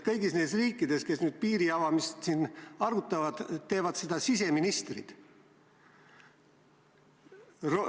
Kõigis nendes riikides, kes nüüd piiri avamist arutavad, teevad seda siseministrid.